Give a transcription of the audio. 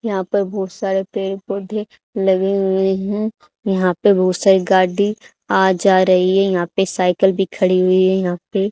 यहां पर बहुत सारे पेड़ पौधे लगे हुए है यहां पे बहुत सारी गाड़ी आ जा रही है यहां पे साईकिल भी खड़ी हुई हैं यहां पे--